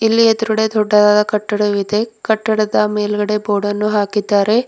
ಇಲ್ಲಿ ಎದ್ರುಗಡೆ ದೊಡ್ಡದಾದ ಕಟ್ಟಡವಿದೆ ಕಟ್ಟಡದ ಮೇಲ್ಗಡೆ ಬೋರ್ಡ್ ಅನ್ನು ಹಾಕಿದ್ದಾರೆ.